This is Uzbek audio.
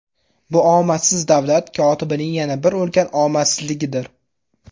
Bu omadsiz davlat kotibining yana bir ulkan omadsizligidir.